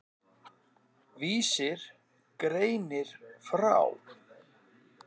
Vísir greinir frá.